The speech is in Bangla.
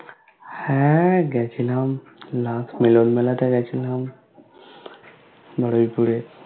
হ্যা গেছিলাম last মিলন মেলা টাই গেছিলাম